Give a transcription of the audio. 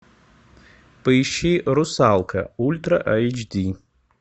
поищи русалка ультра айч ди